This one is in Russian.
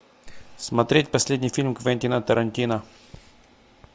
смотреть последний фильм квентина тарантино